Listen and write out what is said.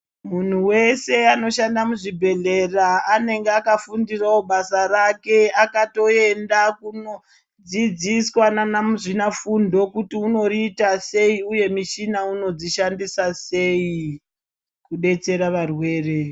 Munhu weshe anoshanda muzvibhedhlera anenge akafundirawo basa rake achutoenda kundodzidziswa nana muzvina fundo kuti unorita sei uye michina unodzoshandisa sei kudetsera varwere.